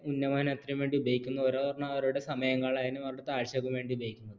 ഉന്നമനത്തിനു വേണ്ടി ഉപയോഗിക്കുന്നു ഒരെണ്ണം അവരുടെ സമയം കളയാനും അവരുടെ കാഴ്ചയ്ക്ക് വേണ്ടി ഉപയോഗിക്കുന്നു